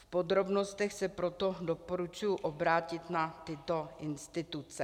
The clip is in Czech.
V podrobnostech se proto doporučuji obrátit na tyto instituce.